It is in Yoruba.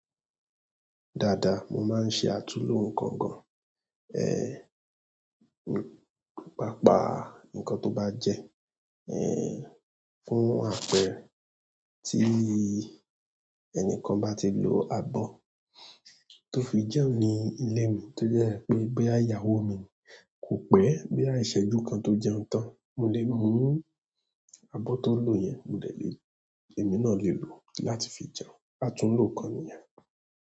Dáadáa, mo máa ń ṣe àtúnlo nǹkan gan-an. Ehn, pàápàá nǹkan tó bá jẹ, ehn, fún àpẹẹrẹ tí ẹnikan bá ti lo abọ́ tó fi jẹun ní ilé mi tó jẹ́ pé bí ìyàwó mi kò pẹ́ bí àìṣẹ́jú kan tó jẹun tán, mo lè mú abọ́ tó lò yẹn, mo dẹ lé, èmi náà lè lò ó láti fi jẹun. Àtúnlo nǹkan nìyẹn.